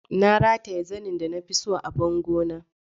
Na rataye zanen da na fi so a bango na.